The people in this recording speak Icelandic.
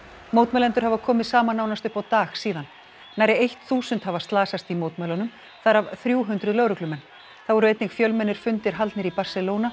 mótmælendur hafa komið saman nánast upp á dag síðan nærri eitt þúsund hafa slasast í mótmælunum þar af þrjú hundruð lögreglumenn þá voru einnig fjölmennir fundir haldnir í Barcelona